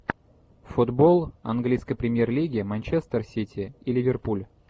футбол английской премьер лиги манчестер сити и ливерпуль